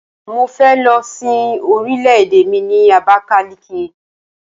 Mo fẹ́ lọ sin orìlè-èdè mi ni Abakaliki.